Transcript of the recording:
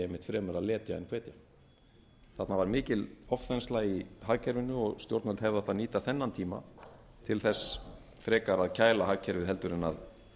einmitt fremur að letja en hvetja þarna var mikil ofþensla í hagkerfinu og stjórnvöld hefðu átt að nýta þennan tíma til þess frekar að kæla hagkerfið heldur en að